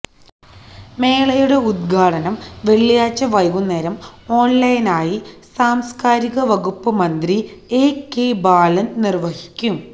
മേളയുടെ ഉദ്ഘാടനം വെള്ളിയാഴ്ച്ച വൈകുന്നേരം ഓൺലൈനായി സാംസ്കാരിക വകുപ്പ് മന്ത്രി എ കെ ബാലൻ നിർവഹിക്കും